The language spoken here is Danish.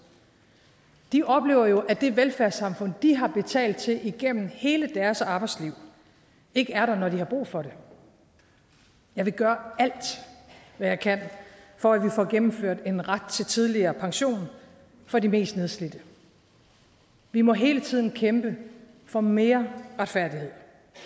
de oplever jo at det velfærdssamfund de har betalt til igennem hele deres arbejdsliv ikke er der når de har brug for det jeg vil gøre alt hvad jeg kan for at vi får gennemført en ret til tidligere pension for de mest nedslidte vi må hele tiden kæmpe for mere retfærdighed